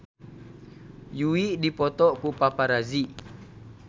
Yui dipoto ku paparazi